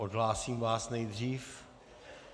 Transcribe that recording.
Odhlásím vás nejdřív.